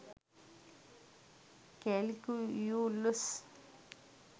calculus